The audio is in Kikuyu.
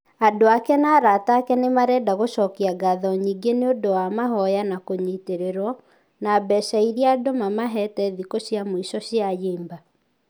Andũ ake na arata ake nĩmarenda gũcokia ngatho nyingĩ nĩũndũ wa mahoya na kũnyitererwo ...na mbeca ĩrĩa andũ mamahĩte thikũ cia mũico cia ayimba.